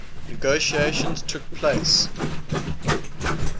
negotiations took place